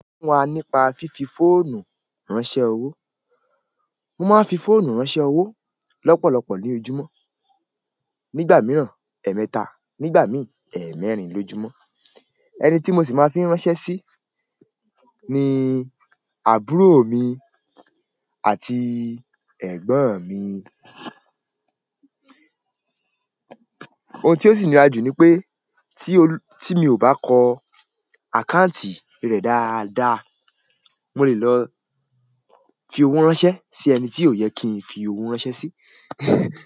Sọfún wa nípa fífi fóònù ránṣẹ́ owó. Mo máa ń fi fóònù ránṣẹ́ owó lọ́pọ̀lọpọ̀ ní ojúmọ́, nígbà mìíràn ẹ̀ẹ̀mẹta, nígbà mi í ẹ̀ẹ̀mẹrin lójúmọ́. Ẹni tí mo sì máa ń fi ránṣẹ́ sí ni àbúrò mi àti ẹ̀gbọ́n mi. Oun tí ó sì nira jù ni pé, tí mi ò bá kọ àkáǹtì rẹ̀ dáadáa, mo lè lọ fi ọwọ́ ránṣẹ́ sí ẹnti ó yẹ kí n fi owó ránṣẹ́ sí.